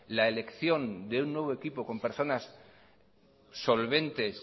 la elección de un nuevo equipo con personas solventes